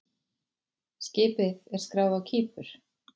Skipið er skráð á Kípur.